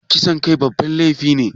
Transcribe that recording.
Kisan kai babban laifi ne?